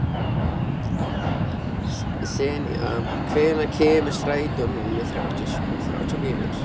Senía, hvenær kemur strætó númer þrjátíu og fjögur?